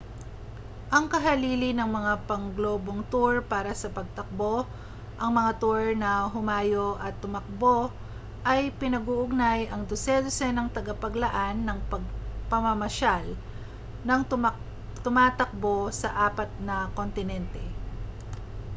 ang kahalili ng mga pangglobong tour para sa pagtakbo ang mga tour na humayo at tumakbo ay pinag-uugnay ang dose-dosenang tagapaglaan ng pamamasyal nang tumatakbo sa apat na kontinente